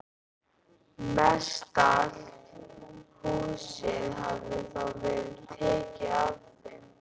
Mestallt húsið hafði þá verið tekið af þeim.